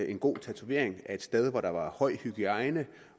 en god tatovering et sted hvor der var høj hygiejne